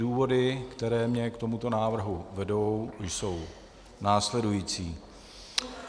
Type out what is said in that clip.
Důvody, které mě k tomuto návrhu vedou, jsou následující.